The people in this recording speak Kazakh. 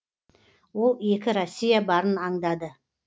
ол екі россия барын аңдады